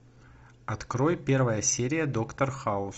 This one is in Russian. открой первая серия доктор хаус